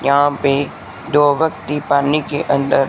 यहां पे दो वकती पानी के अंदर--